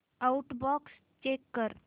outbox check कर